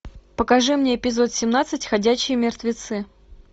покажи мне эпизод семнадцать ходячие мертвецы